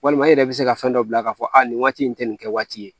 Walima i yɛrɛ bɛ se ka fɛn dɔ bila k'a fɔ a nin waati in tɛ nin kɛ waati ye